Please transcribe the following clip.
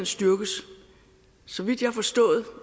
styrkes så vidt jeg har forstået